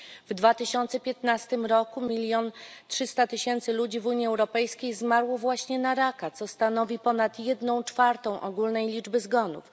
W 2015 roku milion trzysta tysięcy ludzi w Unii Europejskiej zmarło właśnie na raka, co stanowi ponad jedną czwartą ogólnej liczby zgonów.